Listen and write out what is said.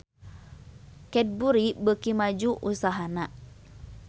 Cadbury beuki maju usahana